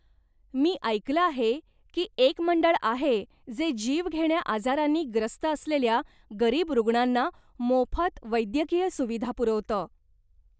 मी ऐकलं आहे की एक मंडळ आहे जे जीवघेण्या आजारांनी ग्रस्त असलेल्या गरीब रुग्णांना मोफत वैद्यकीय सुविधा पुरवतं.